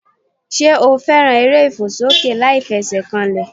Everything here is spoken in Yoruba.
Sé o fẹ́ràn eré ìfòsókè láìfesèkanlè